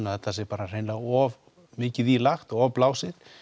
að þetta sé hreinlega of mikið í lagt og of blásið